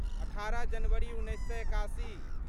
अठारह जनवरी उन्नैस सए एकासी